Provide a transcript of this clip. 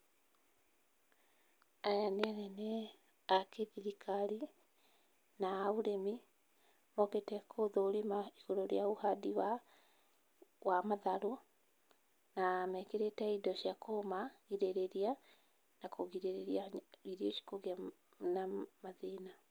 Aya nĩ anene a kĩthirikari na a ũrĩmi, mokĩte kũthũrima igũrũ rĩa ũhandi wa matharũ na mekĩrĩte indo cia kũmagĩrĩrĩria na kũgĩrĩrĩria irio ici kũgĩa na mathĩna.